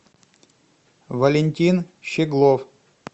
валентин щеглов